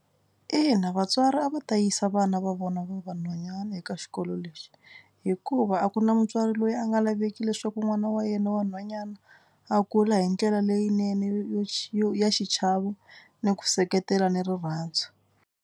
Ina vatswari a va ta yisa vana va vona va vanhwanyana eka xikolo lexi hikuva a ku na mutswari loyi a nga laveki leswaku n'wana wa yena wa nhwanyana a kula hi ndlela leyinene yo yo xi ya xichavo ni ku seketela ni rirhandzu.